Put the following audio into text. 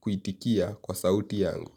kuitikia kwa sauti yangu.